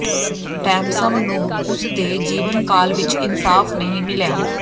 ਡੈਮਸਮ ਨੂੰ ਉਸ ਦੇ ਜੀਵਨ ਕਾਲ ਵਿਚ ਇਨਸਾਫ਼ ਨਹੀਂ ਮਿਲਿਆ